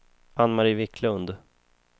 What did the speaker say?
Anne-Marie Viklund